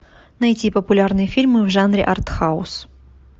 найти популярные фильмы в жанре артхаус